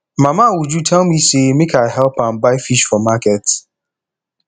mama uju tell me say make i help am buy fish for market